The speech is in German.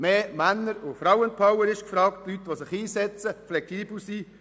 Mehr Männer- und Frauenpower ist gefragt, Leute, die sich einsetzen und flexibel sind.